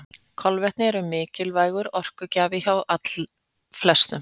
Kolvetni eru mikilvægur orkugjafi hjá allflestum.